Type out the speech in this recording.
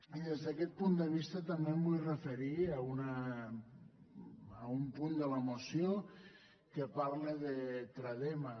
i des d’aquest punt de vista també em vull referir a un punt de la moció que parla de tra·dema